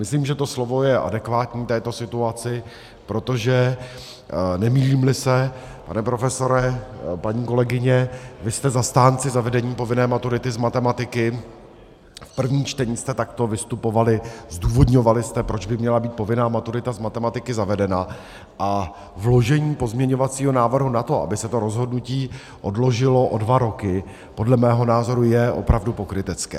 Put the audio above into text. Myslím, že to slovo je adekvátní této situaci, protože, nemýlím-li se, pane profesore, paní kolegyně, vy jste zastánci zavedení povinné maturity z matematiky, v prvním čtení jste takto vystupovali, zdůvodňovali jste, proč by měla být povinná maturita z matematiky zavedena, a vložení pozměňovacího návrhu na to, aby se to rozhodnutí odložilo o dva roky, podle mého názoru je opravdu pokrytecké.